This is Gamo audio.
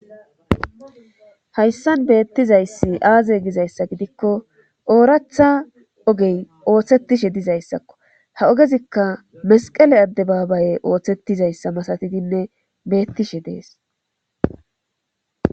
hayssan beettizayssi aaze gizayssa gidikko ooratha ogey ooththetishe dizayssakko ha ogezikka mesqele adde baabaye ooththettizayssa masatidinne beettishe dees